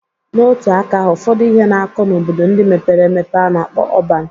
Na otu aka ahụ, ụfọdụ ihe na-akọ n'obodo ndị mepere emepe a na-akpọ ọban.